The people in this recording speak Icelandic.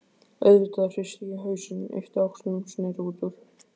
auðvitað hristi ég hausinn, yppti öxlum, sneri út úr.